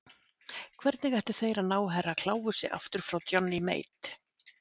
Hvernig ættu þeir að ná Herra Kláusi aftur frá Johnny Mate?